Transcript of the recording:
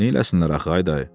Neyləsinlər axı dayı?